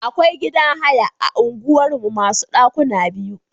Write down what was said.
Akwai gidan haya a unguwar mu masu ɗakuna biyu.